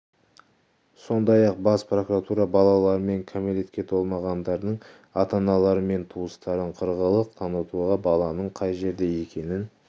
сондай-ақ бас прокуратура балалар мен кәмелетке толмағандардың ата-аналары мен туыстарын қырағылық танытуға баланың қай жерде екенін